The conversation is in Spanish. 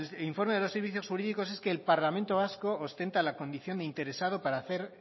el informe de los servicios jurídicos es que el parlamento vasco ostenta la condición de interesado